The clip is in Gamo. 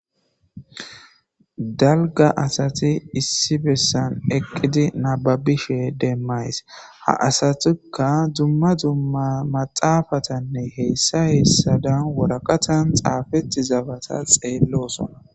Dalgga assathi issi bessan eqidi nababishe demayssi ha assathikka dumma dumma maxafathanne heyssa heyssa dan woraqathan xafetizabatha xelosona.